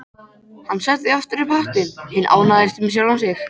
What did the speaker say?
Hann setti aftur upp hattinn, hinn ánægðasti með sjálfan sig.